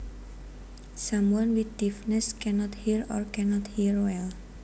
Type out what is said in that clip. Someone with deafness cannot hear or cannot hear well